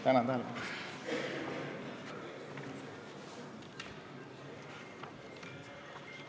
Tänan tähelepanu eest!